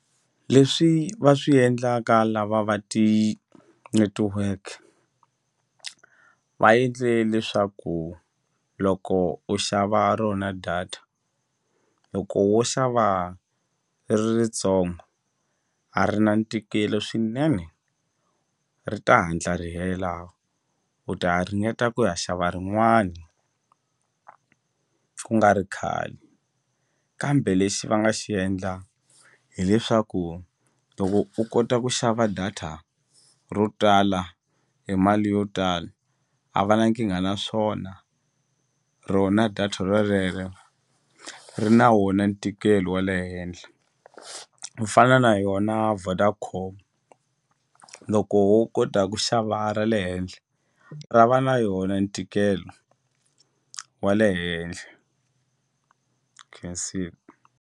Leswi va swi endlaka lava va ti-network va endle leswaku loko u xava rona data loko wo xava ri ri ritsongo a ri na ntikelo swinene ri ta hatla ri hela u ta ringeta ku ya xava rin'wani ku nga ri khale kambe lexi va nga xi endla hileswaku loko u kota ku xava data ro tala hi mali yo tala a va na nkingha na swona rona data rolere ri na wona ntikelo wa le henhla ku fana na yona Vodacom loko wo kota ku xava ra le henhla ra va na yona ntikelo wa le henhle khensile.